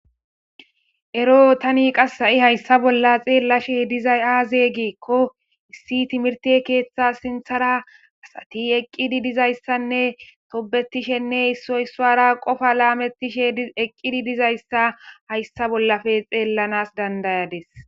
Ero tani ha'i hayssa bolla xellashe dizay azee gikko issi timihirte keththa sinththara asati eqqidi dizaysa toobetishenne issa issuwara qoopa lametishe eeqiddi dizayssa hayssa bollappe xellashe